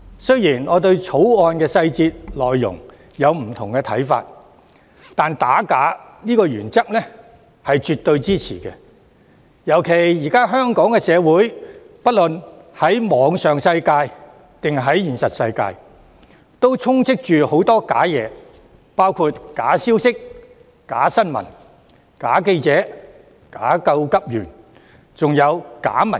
雖然我對《條例草案》的細節和內容有不同的看法，但我絕對支持打假的原則，特別是現今的香港社會無論在網上或現實世界，皆充斥着假的事物，包括假消息、假新聞、假記者、假急救員，還有假民主。